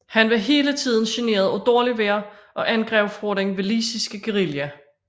Han var hele tiden generet af dårligt vejr og angreb fra den walisiske guerilla